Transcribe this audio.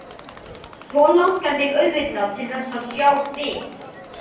Svo langar mig auðvitað til þess að sjá þig.